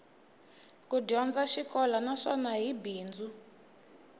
ku dyondza xikolo naswona hi bindzu